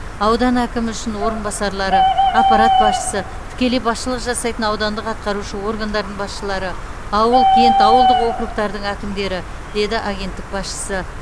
аудан әкімі үшін орынбасарлары аппарат басшысы тікелей басшылық жасайтын аудандық атқарушы органдардың басшылары ауыл кент ауылдық окургтардың әкімдері деді агенттік басшысы